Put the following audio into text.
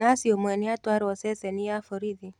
Nathi ũmwe nĩatwarwo ceceni ya borithi.